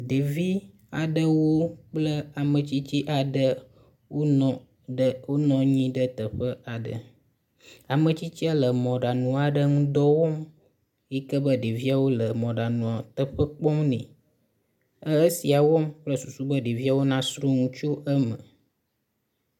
ɖevi aɖewo kple ametsitsi aɖe nɔ ɖe wó nɔnyi ɖe teƒe aɖe ametsitsia le mɔɖaŋu ŋudɔ aɖe wɔm yike be ɖeviawo le mɔɖaŋua teƒe kpɔm nɛ e esia wɔm kple susu be ɖeviawo na sroŋu tso eme